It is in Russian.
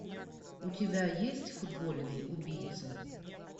у тебя есть футбольный убийца